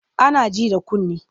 Ana ji da kunne.